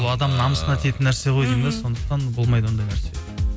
ол адамның намысына тиетін нәрсе ғой сондықтан болмайды ондай нәрсе